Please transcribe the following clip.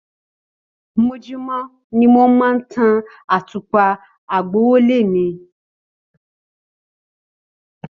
Mojumo ni mo máa ń tan àtùpà àgbọ́wọ́lẹ́ mi.